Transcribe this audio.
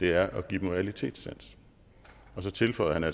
er at give dem realitetssans og så tilføjede